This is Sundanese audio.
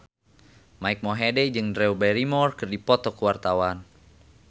Mike Mohede jeung Drew Barrymore keur dipoto ku wartawan